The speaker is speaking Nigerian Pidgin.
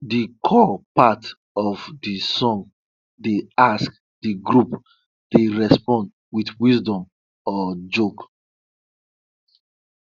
de call part of de song dey ask de group dey respond wit wisdom or joke